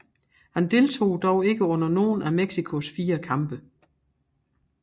Han deltog dog ikke under nogen af Mexicos fire kampe